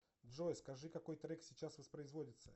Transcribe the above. джой скажи какой трек сейчас воспроизводится